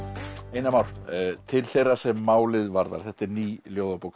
einar Már til þeirra sem málið varðar þetta er ný ljóðabók